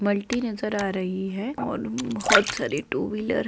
multi नजर आ रही है और बहुत सारी टू व्हीलर --